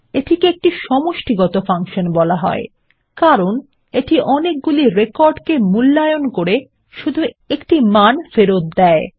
এটিকে একটি সমষ্টিগত ফাংশন বলা হয় কারণ এটি অনেকগুলি রেকর্ডকে মূল্যায়নের করে শুধু একটা মান ফেরত দেয়